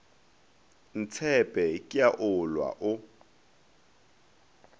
ntshepe ke a olwa o